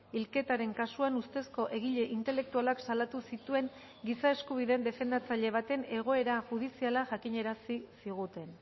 hilketaren kasuan ustezko egile intelektualak salatu zituen giza eskubideen defendatzaile baten egoera judiziala jakinarazi ziguten